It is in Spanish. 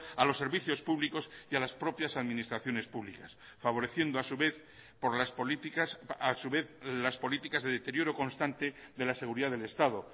a los servicios públicos y a las propias administraciones públicas favoreciendo a su vez por las políticas a su vez las políticas de deterioro constante de la seguridad del estado